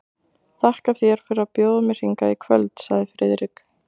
Þakka þér fyrir að bjóða mér hingað í kvöld sagði Friðrik.